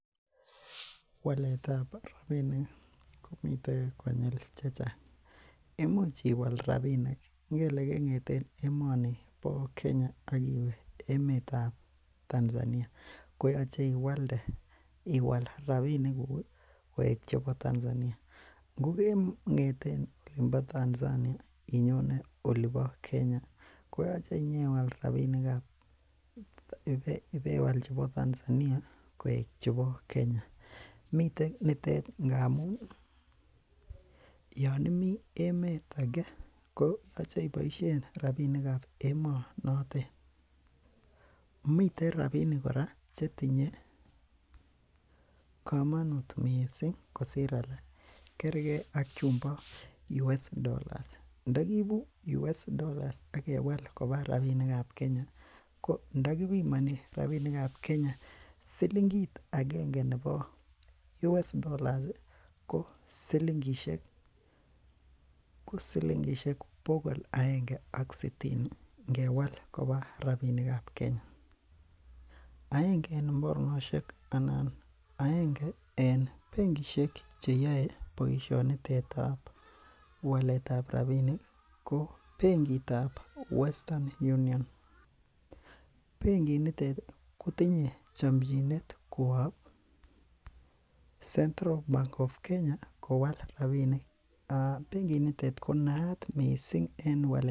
Waletab rabinik komiten konyil chechang',imuch iwal rabinik ingele keng'eten emoni Kenya ak iwe emet ab Tanzania koyoche iwalde, iwal rabinikuk koik chebo Tanzania, ng'ogeng'eten olimpo Tanzania inyone olipo Kenya koyoche iibewal chebo Tanzania koik chebo Kenya, miten nitet ngamun yonimi emet age koyoche iboisien rabinik ab emonotet, miten rabinik kora chetinye komonut missing kosir alak kergen ak chumbo US Dollars, ndagiibu US Dollars ak kewal koba rabinik ab Kenya ko ndakibimoni rabinik ab Kenya ko silingit agenge nebo US Dollars ko silingisiek bogol agenge ak sitini ngewal koba rabinik ab Kenya, aenge en mornosiek anan agenge en benkisiek cheyoe boisionitet ab walet ab rabinik ko benkit ab Western Union, benkit nitet kotinye chomchinet kowo Central bank of Kenya kowal rabinik, benkit nitet ko naat missing en walet ab rabinik.